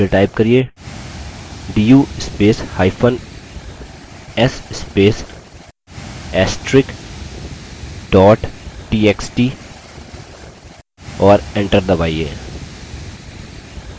फिर type करिये du spacehyphen s space * astrix dot txt और enter दबाइए